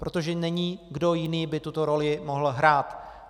Protože není, kdo jiný by tuto roli mohl hrát.